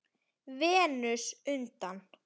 Venus undan